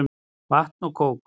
Vatn og kók.